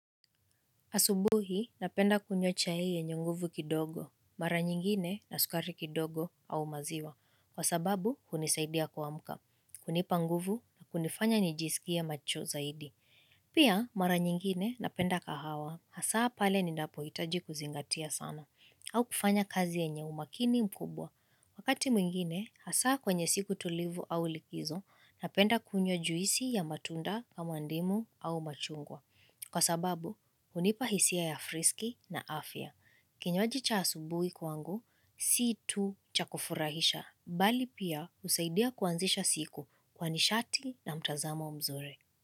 Asubuhi, napenda kunywa chai yenye nguvu kidogo, mara nyingine na sukari kidogo au maziwa, kwa sababu hunisaidia kuamka, kunipa nguvu na hunifanya nijisikie macho zaidi. Pia, mara nyingine napenda kahawa, hasaa pale ninapohitaji kuzingatia sana, au kufanya kazi yenye umakini mkubwa. Wakati mwingine, hasaa kwenye siku tulivu au likizo, napenda kunywa juisi ya matunda kama ndimu au machungwa. Kwa sababu, hunipa hisia ya friski na afya. Kinywaji cha asubuhi kwangu, si tu cha kufurahisha. Bali pia husaidia kuanzisha siku kwa nishati na mtazamo mzuri.